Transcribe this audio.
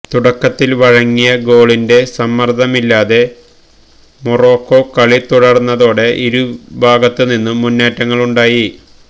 തുടക്കത്തില് വഴങ്ങിയ ഗോളിന്റെ സമ്മര്ദ്ദമില്ലാതെ മൊറോക്കോ കളി തുടര്ന്നതോടെ ഇരുഭാഗത്ത് നിന്നും മുന്നേറ്റങ്ങളുണ്ടായി